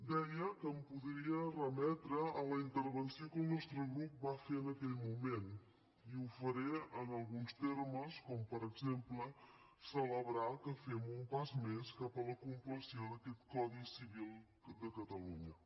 deia que em podria remetre a la intervenció que el nostre grup va fer en aquell moment i ho faré en alguns termes com per exemple celebrar que fem un pas més cap a la compleció d’aquest codi civil de catalunya